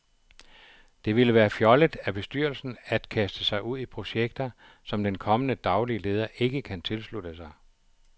Det ville være fjollet af bestyrelsen at kaste sig ud i projekter, som den kommende daglige leder ikke kan tilslutte sig.